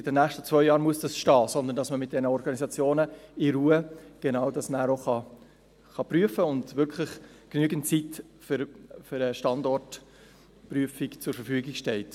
«In den nächsten zwei Jahren muss das stehen», sodass man dann mit diesen Organisationen in Ruhe genau das auch prüfen kann und wirklich genügend Zeit für eine Standortprüfung zur Verfügung steht.